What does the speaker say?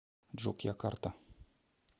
джокьякарта